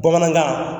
Bamanankan